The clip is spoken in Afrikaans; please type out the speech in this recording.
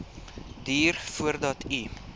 duur voordat u